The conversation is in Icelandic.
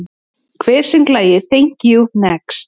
Hver söng lagið Thank you, next?